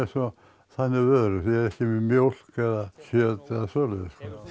þannig vörur ég ekki með mjólk eða kjöt eða svoleiðis